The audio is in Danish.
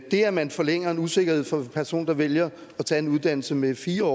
det at man forlænger en usikkerhed for en person der vælger at tage en uddannelse med fire